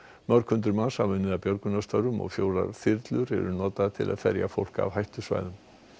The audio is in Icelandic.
mörg hundruð manns hafa unnið að björgunarstörfum og fjórar þyrlur eru notaðar til að ferja fólk af hættusvæðum